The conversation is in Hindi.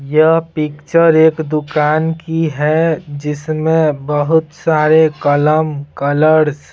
यह पिक्चर एक दुकान की है जिसमें बहुत सारे कलम कलर्स .